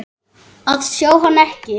að sjá hann, ekki enn.